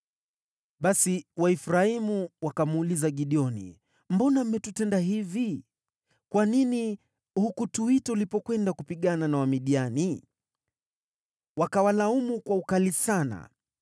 Basi Waefraimu wakamuuliza Gideoni, “Mbona mmetutenda hivi? Kwa nini hukutuita ulipokwenda kupigana na Wamidiani?” Wakawalaumu kwa ukali sana.